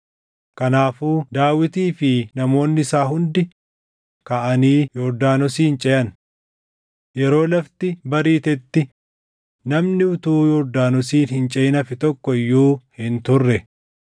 Kanaafuu Daawitii fi namoonni isaa hundi kaʼanii Yordaanosin ceʼan. Yeroo lafti bariitetti namni utuu Yordaanosin hin ceʼin hafe tokko iyyuu hin turre.